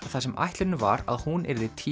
þar sem ætlunin var að hún yrði